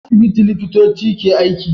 A asibiti liƙitoci ke aiki